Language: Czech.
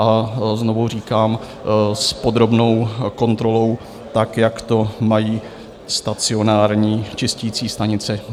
A znovu říkám, s podrobnou kontrolou, tak jak to mají stacionární čisticí stanice.